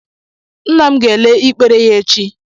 Nna m ga ele ikpere ya echi.